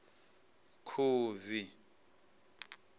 khubvi